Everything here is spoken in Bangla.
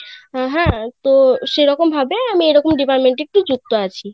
তো সেরকম ভাবে এরকম আমি ডিপার্ট্মেন্টে যুক্ত আছি